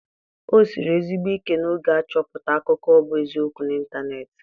O siri ezigbo ike n'oge a ịchọpụta akụkọ bu eziokwu na ịntanetị.